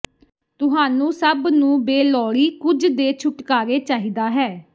ਤੁਹਾਨੂੰ ਸਭ ਨੂੰ ਬੇਲੋੜੀ ਕੁਝ ਦੇ ਛੁਟਕਾਰੇ ਚਾਹੀਦਾ ਹੈ